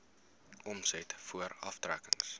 omset voor aftrekkings